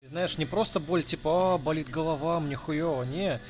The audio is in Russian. знаешь не просто боль типа болит голова мне хуева не